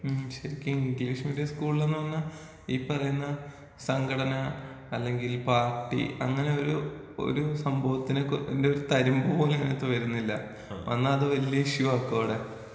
മ്ം ശെരിക്കും English medium സ്കൂളിലെന്ന് പറഞ്ഞാ ഈ പറയുന്ന സംഘടന അല്ലെങ്കിൽ പാർട്ടി അങ്ങനെ ഒരു ഒരു സംഭവത്തിന്‍റെ ഒരു തരിമ്പുപോലും അതിനകത്ത് വരുന്നില്ലാ വന്നാ അത് വല്ല്യ ഇഷുവാക്കും അവടെ.